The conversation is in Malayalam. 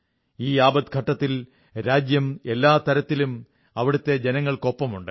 ഈ ആപദ്ഘട്ടത്തിൽ രാജ്യം എല്ലാ തരത്തിലും അവിടുത്തെ ജനങ്ങൾക്കൊപ്പമുണ്ട്